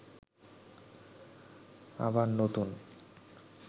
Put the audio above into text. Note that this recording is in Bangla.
আবার নতুন